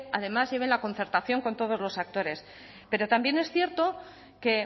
además lleven la concertación con todos los actores pero también es cierto que